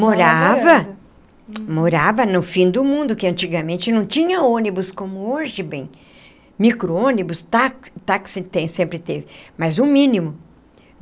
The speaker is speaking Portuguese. Morava, morava no fim do mundo, que antigamente não tinha ônibus como hoje, bem, micro-ônibus, táxi táxi tem sempre teve, mas o mínimo.